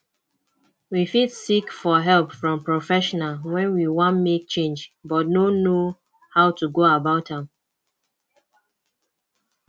we fit seek for help from professional when we wan make change but no know how to go about am